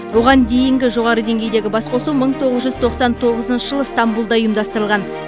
оған дейінгі жоғары деңгейдегі басқосу мың тоғыз жүз тоқсан тоғызыншы жылы ыстамбұлда ұйымдастырылған